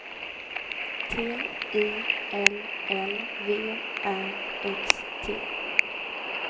T I L L V Ä X T